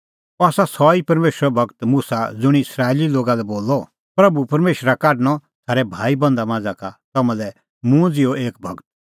अह आसा सह ई परमेशरो गूर मुसा ज़ुंणी इस्राएली लोगा लै बोलअ प्रभू परमेशरा काढणअ थारै भाईबंधा मांझ़ा का तम्हां लै मुंह ज़िहअ एक गूर बधान 181518